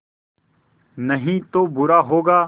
नहीं तो बुरा होगा